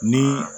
Ni